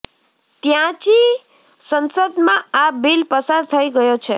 ત્ચાંની સંસદમાં આ બિલ પસાર થઈ ગયો છે